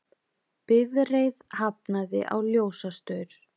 Bifreið hafnaði á ljósastaur